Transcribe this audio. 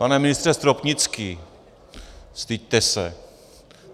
Pane ministře Stropnický, styďte se.